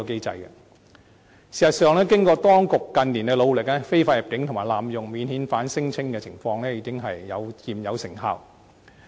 事實上，經過當局近年作出的努力，非法入境及濫用免遣返聲請的情況已初見成效。